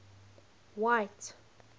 white